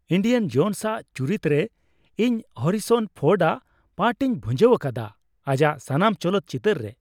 Indian Jones ᱟᱜ ᱪᱩᱨᱤᱛ ᱨᱮ ᱤᱧ ᱦᱮᱹᱨᱤᱥᱚᱱ ᱯᱷᱳᱨᱰ ᱟᱜ ᱯᱟᱴᱷ ᱤᱧ ᱵᱷᱩᱧᱡᱟᱹᱣ ᱟᱠᱟᱫᱟ ᱟᱡᱟᱜ ᱥᱟᱱᱟᱢ ᱪᱚᱞᱚᱛ ᱪᱤᱛᱟᱹᱨ ᱨᱮ ᱾